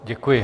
Děkuji.